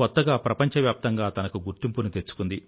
కొత్తగా ప్రపంచవ్యాప్తంగా తనకు గుర్తింపుని తెచ్చుకుంది